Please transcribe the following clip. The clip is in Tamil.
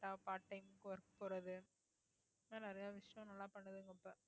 correct ஆ part time work போறது இன்னும் நிறைய விஷயம் நல்லா பண்ணுதுங்க இப்ப